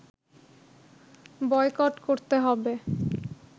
boycott করতে হবে